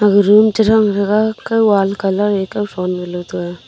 aga room cha gang thaga kao wall colour e chao thon gala.